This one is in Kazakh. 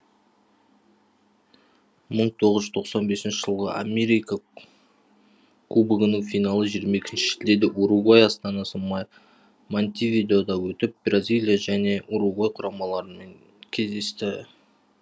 мың тоғыз жүз тоқсан бесінші жылғы америка кубогының финалы жиырма екінші шілдеде уругвай астанасы монте видеода өтіп бразилия және уругвай құрамаларымен кездесті